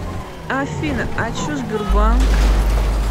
афина а че сбербанк